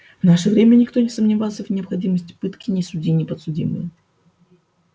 в наше же время никто не сомневался в необходимости пытки ни судьи ни подсудимые